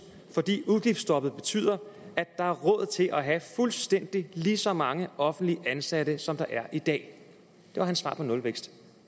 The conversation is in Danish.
fordi udgiftsstoppet betyder at der er råd til at have fuldstændig lige så mange offentligt ansatte som der er i dag det var hans svar på nulvækst